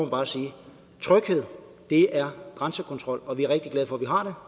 bare sige at tryghed er grænsekontrol og vi er rigtig glade for